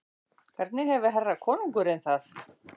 Hvernig hefur herra konungurinn það?